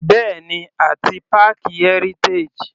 Bẹ́ẹ̀ni àti páàkì Heritage.